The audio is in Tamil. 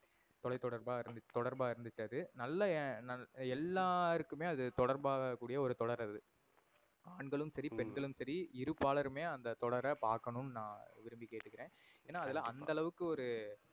தொலை தொடர்பா தொடர்பா இருந்துச்சு அது. நல்ல நல்லா எல்லோருக்குமே அது தொடர்பாககூடிய ஒரு தொடர் அது. ஆண்களும் சரி, பெண்களும் சரி இருபாலருமே அந்த தொடர பாக்கணும் நா விரும்பி கேட்டுக்குறேன். ஏன்னா அதுல அந்த அளவுக்கு ஒரு